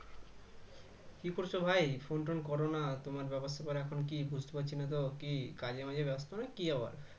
কি করছো ভাই phone টোন করো না তোমার ব্যাপারস্যাপার এখন কি বুঝতে পারছিনা তো কী কাজেমাজে ব্যস্ত নাকি আবার